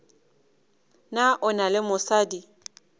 na o na le mosadi